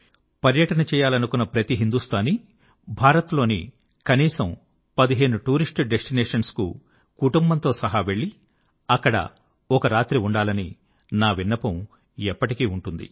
పర్యటన యాత్ర చేయాలనుకున్న ప్రతి హిందూస్తానీ భారత్ లోని కనీసం 15 టూరిస్ట్ డెస్టినేషన్స్ కు కుటుంబంతో సహా వెళ్ళి అక్కడ ఒక రాత్రి ఉండాలని నా విన్నపం ఎప్పటికీ ఉంటుంది